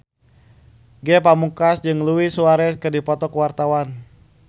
Ge Pamungkas jeung Luis Suarez keur dipoto ku wartawan